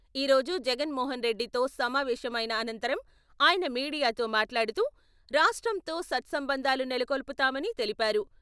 ఈ రోజు జగన్‌మోహన్‌ రెడ్డితో సమావేశం అయిన అనంతరం ఆయన మీడియాతో మాట్లాడుతూ, రాష్ట్రంతో సత్సంబంధాలు నెలకొల్పుతామని తెలిపారు.